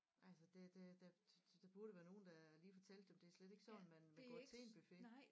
Altså det det der der burde være nogen der lige fortalte dem det er slet ikke sådan man man går til en buffet